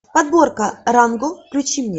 подборка ранго включи мне